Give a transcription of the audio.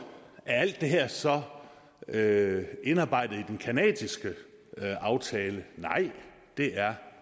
alt det her så er indarbejdet i den canadiske aftale nej det er